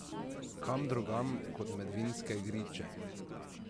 Kam drugam kot med vinske griče?